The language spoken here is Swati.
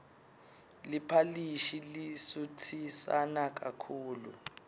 liphalishi lisutsisana kakhulu